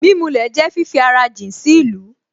Mímulẹ̀ jẹ́ fífi ara jìn sí ìlú